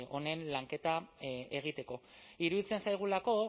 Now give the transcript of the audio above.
honen lanketa egiteko iruditzen zaigulako